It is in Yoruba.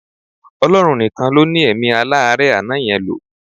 Ọlọ́run nìkan ló ní èmí aláárẹ̀ àná yẹn lò.